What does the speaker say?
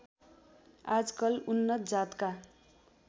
आजकल उन्नत जातका